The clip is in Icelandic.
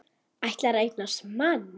Ætlar að eignast mann.